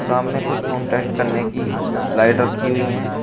सामने कुछ कांटेस्ट करने की स्लाइड रखी हुई है।